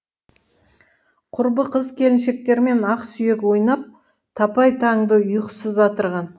құрбы қыз келіншектермен ақ сүйек ойнап талай таңды ұйқысыз атырған